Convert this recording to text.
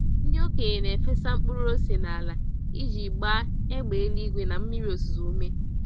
Ndị okenye na-efesa mkpụrụ ose n'ala iji gbaa égbè eluigwe na mmiri ozuzo ume.